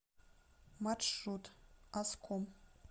маршрут аском